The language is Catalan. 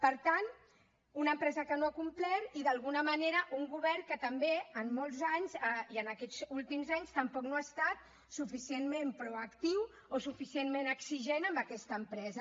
per tant una empresa que no ha complert i d’alguna manera un govern que també en molts anys i en aquests últims anys tampoc no ha estat suficientment proactiu o suficientment exigent amb aquesta empresa